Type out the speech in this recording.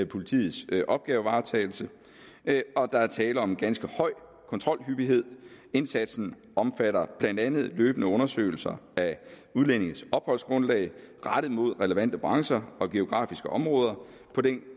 politiets opgavevaretagelse og der er tale om en ganske høj kontrolhyppighed indsatsen omfatter blandt andet løbende undersøgelser af udlændinges opholdsgrundlag rettet mod relevante brancher og geografiske områder